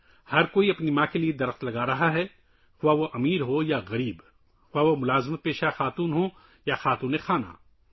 ہر کوئی اپنی ماں کے لیے درخت لگا رہا ہے خواہ وہ امیر ہو یا غریب، چاہے وہ ملازمت پیشہ عورت ہو یا گھریلو خاتون